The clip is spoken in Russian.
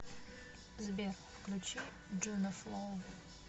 сбер включи джунофло